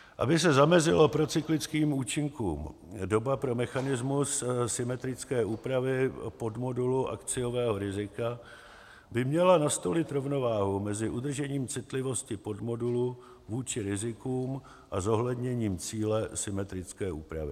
Aby se zamezilo procyklickým účinkům, doba pro mechanismus symetrické úpravy podmodulu akciového rizika by měla nastolit rovnováhu mezi udržením citlivosti podmodulu vůči rizikům a zohledněním cíle symetrické úpravy.